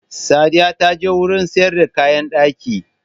Sadiya ta je wurin sayar da kayan ɗaki